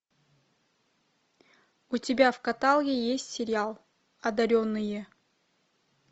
у тебя в каталоге есть сериал одаренные